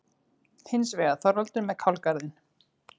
Hins vegar: Þorvaldur með kálgarðinn.